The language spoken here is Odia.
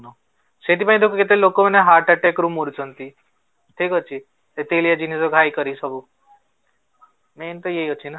ସେଇଥି ପାଇଁ ତ କେତେ ଲୋକ ମାନେ ହାର୍ଟ attack ରେ ମରୁଛନ୍ତି, ଠିକ ଅଛି ଦିନ ରୁ କରି ସବୁ main ତ ଏଇ ଅଛି ନା